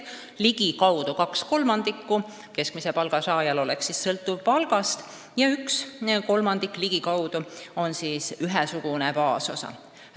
Ligikaudu kaks kolmandikku pensionist oleks keskmise palga saajal sõltuv palgast ja üks kolmandik oleks ühesugune baasosa.